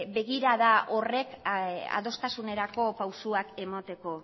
begirada horrek adostasunerako pausuak emateko